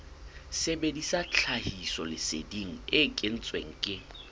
sebedisa tlhahisoleseding e kentsweng ke